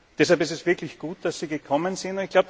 Deshalb ist es wirklich gut, dass Sie gekommen sind.